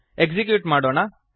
execute ಮಾಡೋಣ